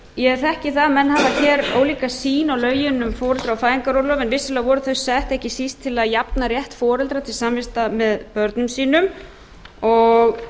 ég þekki það að menn hafa hér ólíka sýn á lögin um foreldra og fæðingarorlof en líklega voru þau sett ekki síst til að jafna rétt foreldra til samvista með börnum sínum og